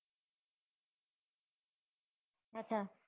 અચ્છા